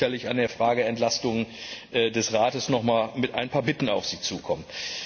Wir werden sicherlich in der Frage Entlastung des Rates mit ein paar Bitten auf Sie zukommen.